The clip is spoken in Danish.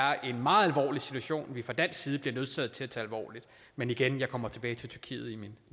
er en meget alvorlig situation som vi fra dansk side er nødsaget til at tage alvorligt men igen jeg kommer tilbage til tyrkiet i min